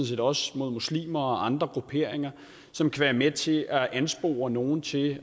set også mod muslimer og andre grupperinger som kan være med til at anspore nogle til